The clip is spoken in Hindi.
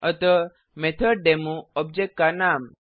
अतः मेथोडेमो ऑब्जेक्ट का नाम